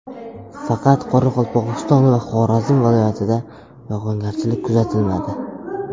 Faqat Qoraqalpog‘iston va Xorazm viloyatida yog‘ingarchilik kuzatilmadi.